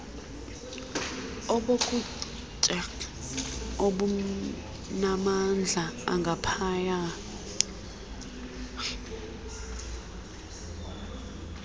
obokutya obunamandla angaphaya